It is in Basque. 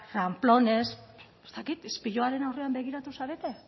ramplones ez dakit ispiluaren aurrean begiratu zarete